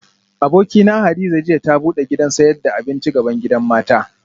Abokina Hadiza jiya ta bude gidan sayad da abinci bgaban gidan mata